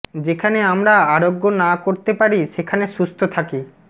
যেখানে আমরা আরোগ্য না করতে পারি সেখানে সুস্থ থাকি